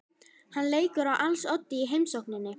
Hann leikur á als oddi í heimsókninni.